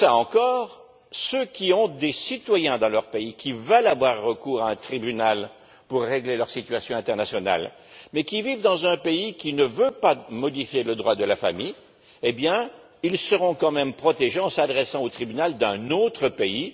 Mieux encore, ceux qui ont des citoyens dans leur pays qui veulent avoir recours à un tribunal pour régler leur situation internationale, mais vivent dans un pays qui ne veut pas modifier le droit de la famille seront quand même protégés en s'adressant au tribunal d'un autre pays.